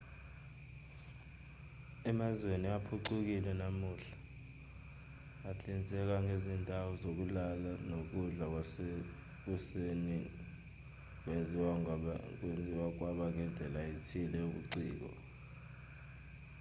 emazweni aphucukile namuhla ahlinzeka ngezindawo zokulala nokudla kwasekuseni kwenziwa kwaba indlela ethile yobuciko